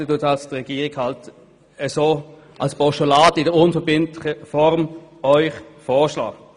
Die Regierung schlägt Ihnen also ein unverbindliches Postulat vor.